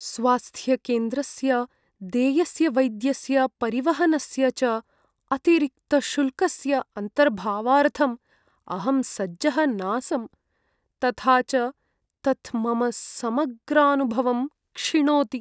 स्वास्थ्यकेन्द्रस्य देयस्य वैद्यस्य, परिवहनस्य च अतिरिक्तशुल्कस्य अन्तर्भावार्थम् अहं सज्जः नासम्, तथा च तत् मम समग्रानुभवं क्षिणोति।